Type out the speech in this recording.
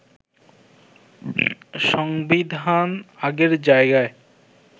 সংবিধান আগের জায়গায়